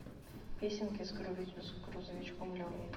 песенки с грузовичком левой